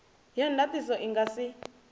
ya ndatiso i nga si